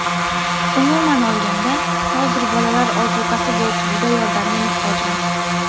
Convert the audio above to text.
Umuman olganda, hozir bolalar ozuqasi bo‘yicha juda yordamga muhtojmiz.